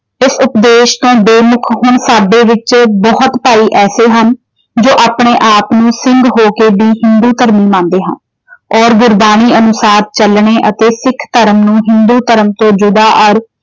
ਇਸ ਉਪਦੇਸ਼ ਤੋਂ ਬੇਮੁੱਖ ਹੁਣ ਸਾਡੇ ਵਿੱਚੋਂ ਬਹੁਤ ਭਾਈ ਐਸੇ ਹਨ, ਜੋ ਆਪਣੇ ਆਪ ਨੂੰ ਸਿੰਘ ਹੋ ਕੇ ਵੀ ਹਿੰਦੂ ਧਰਮ ਨੂੰ ਮੰਨਦੇ ਹਨ। ਔਰ ਗੁਰਬਾਣੀ ਅਨੁਸਾਰ ਚੱਲਣੇ ਅਤੇ ਸਿੱਖ ਧਰਮ ਨੂੰ ਹਿੰਦੂ ਧਰਮ ਤੋਂ ਯੁਦਾ ਔਰ